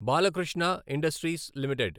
Balakrishna industries limited